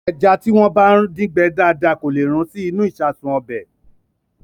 Ẹja tí wọ́n bá dín gbẹ dáadáa kò lè rún sí inú ìṣasùn ọbẹ̀.